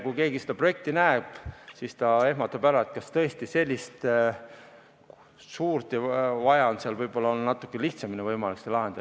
Kui keegi seda projekti näeb, siis ta ehmatab ära, et kas tõesti nii suurt on vaja, võib-olla oleks võimalik natukene lihtsamini see lahendada.